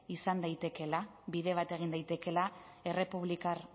izan daitekeela bide bat egin daitekeela dominikar